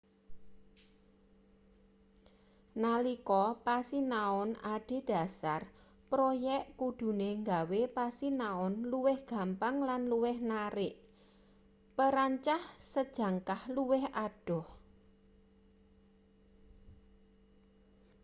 nalika pasinaon adhedhasar proyek kudune gawe pasinaon luwih gampang lan luwih narik perancah sejangkah luwih adoh